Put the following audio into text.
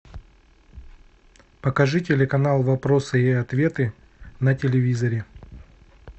покажи телеканал вопросы и ответы на телевизоре